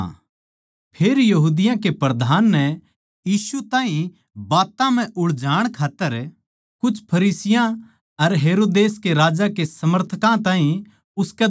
फेर यहूदियाँ के प्रधान नै यीशु ताहीं बात्तां म्ह उलझाण खात्तर कुछ फरिसियाँ अर हेरोदेस राजा के समर्थकां ताहीं उसकै धोरै भेज्या